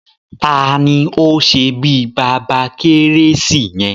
Taàní ó ṣe bí Baba keresi yẹn?